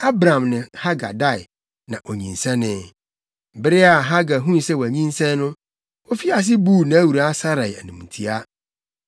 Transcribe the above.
Abram ne Hagar dae, na onyinsɛnee. Bere a Hagar huu sɛ wanyinsɛn no, ofii ase buu nʼawuraa Sarai animtiaa.